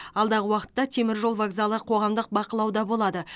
алдағы уақытта теміржол вокзалы қоғамдық бақылауда болады